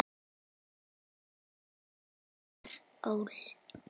Rit Einars Ól.